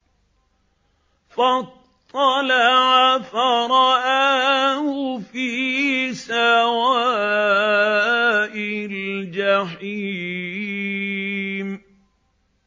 فَاطَّلَعَ فَرَآهُ فِي سَوَاءِ الْجَحِيمِ